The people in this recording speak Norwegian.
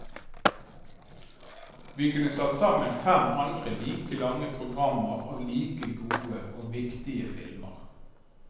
Vi kunne satt sammen fem andre like lange programmer av like gode og viktige filmer.